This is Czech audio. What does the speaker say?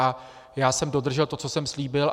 A já jsem dodržel to, co jsem slíbil.